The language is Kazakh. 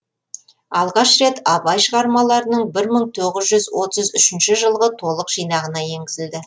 алғаш рет абай шығармаларының бір мың тоғыз жүз отыз үшінші жылғы толық жинағына енгізілді